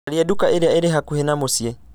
caria nduka ĩrĩa ĩrĩ hakuhĩ na mũciĩ